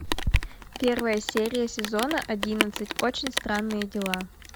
первая серия сезона одиннадцать очень странные дела